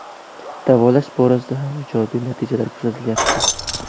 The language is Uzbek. Davolash borasida ham ijobiy natijalar kuzatilyapti.